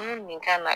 nin ka na